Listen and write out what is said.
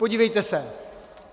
Podívejte se.